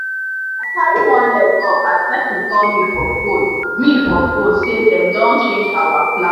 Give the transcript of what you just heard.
i carry one leg up as person call me for phone me for phone say dem don change our plan